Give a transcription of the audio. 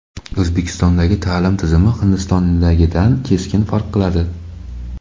O‘zbekistondagi ta’lim tizimi Hindistondagidan keskin farq qiladi.